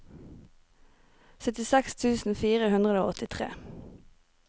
syttiseks tusen fire hundre og åttitre